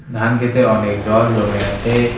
ধানক্ষেতে অনেক জল জমে আছে।